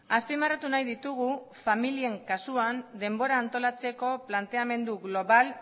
azpimarratu nahi ditugu familien kasuan denbora antolatzeko planteamendu global